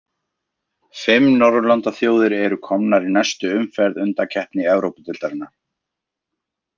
Fimm norðurlandaþjóðir eru komnar í næstu umferð undankeppni Evrópudeildarinnar.